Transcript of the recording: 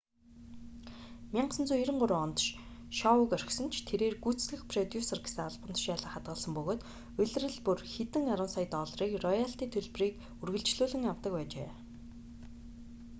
1993 онд шоуг орхисон ч тэрээр гүйцэтгэх продюсер гэсэн албан тушаалаа хадгалсан бөгөөд улирал бүр хэдэн арван сая долларын роялти төлбөрийг үргэлжлүүлэн авдаг байжээ